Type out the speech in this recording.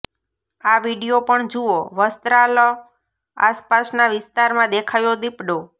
આ વીડિયો પણ જુઓઃ વસ્ત્રાલ આસપાસના વિસ્તારમાં દેખાયો દીપડો